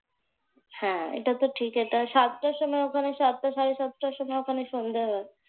হ্যাঁ এটা তো ঠিক। এটা সাতটার সময় ওখানে সাতটা সাড়ে সাতটার সময় ওখানে সন্ধ্যা হয়।